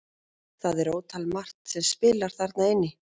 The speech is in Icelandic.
Það er ótal margt sem spilar þarna inn í.